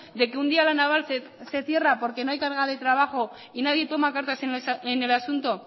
de que un día la naval se cierra porque no hay carga de trabajo y nadie toma cartas en el asunto